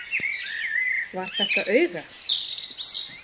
Var þetta auga?